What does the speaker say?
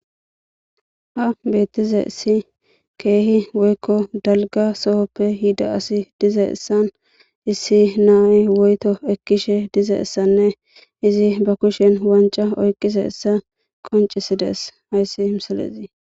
Ha bettizayssi kehi woyko dalgga soho asi dizayssan na'ay woyto shin dizayssane izi be kushen wancca oykidayssa qonccisses hayssi misilezi.